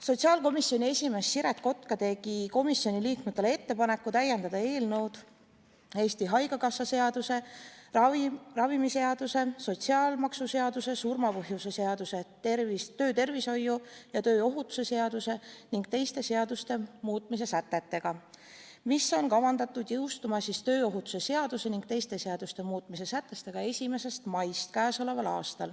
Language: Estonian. Sotsiaalkomisjoni esimees Siret Kotka tegi komisjoni liikmetele ettepaneku täiendada eelnõu Eesti Haigekassa seaduse, ravimiseaduse, sotsiaalmaksuseaduse, surma põhjuse seaduse, töötervishoiu ja tööohutuse seaduse ning teiste seaduste muutmise sätetega, mis on kavandatud jõustuma k.a 1. mail.